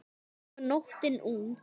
Og nóttin ung.